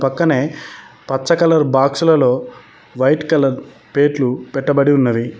పక్కనే పచ్చ కలర్ బాక్సులలో వైట్ కలర్ ప్లేట్లు పెట్టబడి ఉన్నవి.